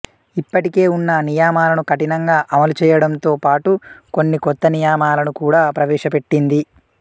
ఇప్పటికే ఉన్న నియమాలను కఠినంగా అమలు చెయ్యడంతో పాటు కొన్ని కొత్త నియమాలను కూడా ప్రవేశపెట్టింది